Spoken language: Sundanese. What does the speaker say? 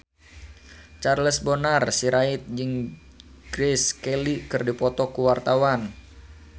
Charles Bonar Sirait jeung Grace Kelly keur dipoto ku wartawan